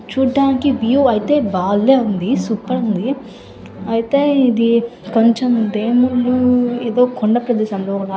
చూడ్డానికి వ్యూ అయితే బాలే ఉంది. సూపర్ ఉంది. అయితే ఇది కొంచెం దేవుళ్ళు ఏదో కొండ ప్రదేశం. దూరము--